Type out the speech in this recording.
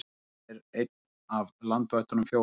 Bergrisi er einn af landvættunum fjórum.